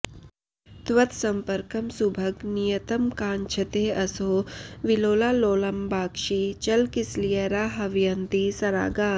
त्वत्सम्पर्कं सुभग नियतं काङ्क्षतेऽसौ विलोला लोलम्बाक्षी चलकिसलयैराह्वयन्ती सरागा